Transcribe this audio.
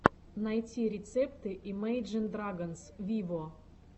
найти рецепты имейджин драгонс виво